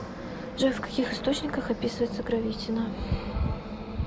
джой в каких источниках описывается гравитино